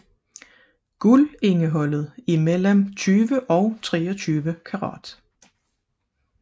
Guldindholdet er mellem 20 og 23 karat